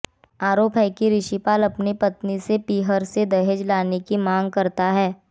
आरोप है कि ऋषिपाल अपनी पत्नी से पीहर से दहेज लाने की मांग करता था